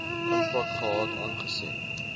impak gehad aangesien